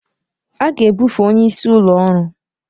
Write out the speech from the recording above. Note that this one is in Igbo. A ga-ebufe onye isi ụlọ ọrụ.